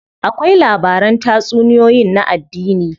Akwai labaran tatsuniyoyin na addini.